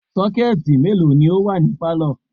Sọ́kẹ̀tì mélòó ni ó wà ní pálọ̀?